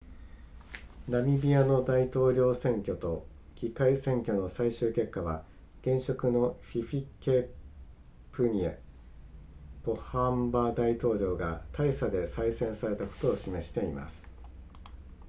ナミビアの大統領選挙と議会選挙の最終結果は現職のヒフィケプニェポハンバ大統領が大差で再選されたことを示しています